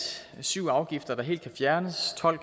syv afgifter kan helt fjernes tolv